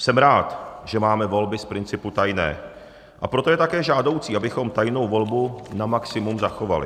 Jsem rád, že máme volby z principu tajné, a proto je také žádoucí, abychom tajnou volbu na maximum zachovali.